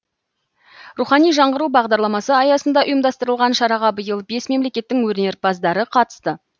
рухани жаңғыру бағдарламасы аясында ұйымдастырылған шараға биыл бес мемлекеттің өнерпаздары қатысты